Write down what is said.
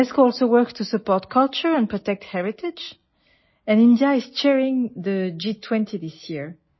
UNESCO also works to support culture and protect heritage and India is chairing the G20 this year